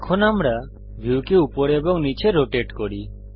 এখন আমরা ভিউকে উপর এবং নীচে রোটেট করি